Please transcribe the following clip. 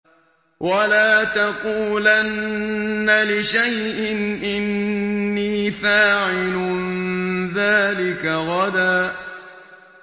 وَلَا تَقُولَنَّ لِشَيْءٍ إِنِّي فَاعِلٌ ذَٰلِكَ غَدًا